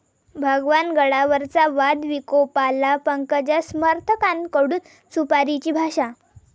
भगवान गडावरचा वाद विकोपाला, पंकजा समर्थकांकडून 'सुपारी'ची भाषा